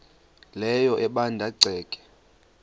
leyo ebanda ceke